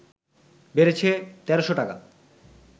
বেড়েছে ১৩শ টাকা